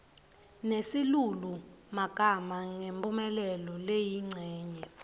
nesilulumagama ngemphumelelo leyincenye